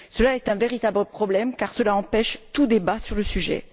C'est un véritable problème car cela empêche tout débat sur le sujet.